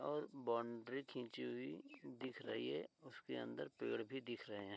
और बाउंड्री खींची हुई दिख रही है उसके अंदर पेड़ भी दिख रहे हैं।